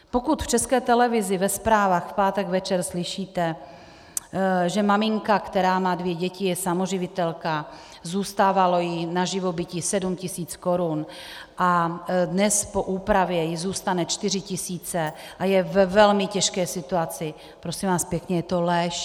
Pokud v České televizi ve zprávách v pátek večer slyšíte, že maminka, která má dvě děti, je samoživitelka, zůstávalo jí na živobytí 7 tisíc korun a dnes po úpravě jí zůstanou 4 tisíce a je ve velmi těžké situaci, prosím vás pěkně, je to lež!